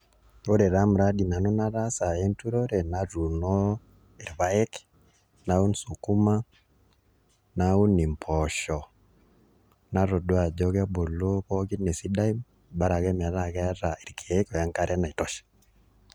Ore taa muradi nanu nataasa enturore natuuno irpae, naun sukuma, naun mpoosho natodua ajo kebulu pookin esidai bora ake metaa ekeeta irkeek o enkare naitosha.